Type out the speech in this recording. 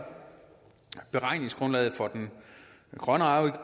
beregningsgrundlaget for grøn